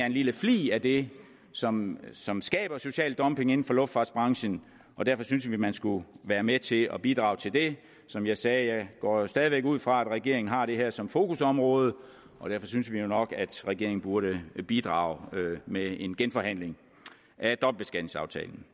en lille flig af det som som skaber social dumping inden for luftfartsbranchen derfor synes vi at man skulle være med til at bidrage til det som jeg sagde går vi stadig væk ud fra at regeringen har det her som fokusområde derfor synes vi nok at regeringen burde bidrage med en genforhandling af dobbeltbeskatningsaftalen